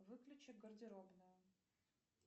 выключи гардеробную